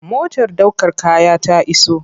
Motar ɗaukar kaya ta iso.